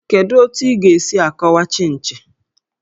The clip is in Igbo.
Kedu otu ị ga-esi akọwa Chịnchị?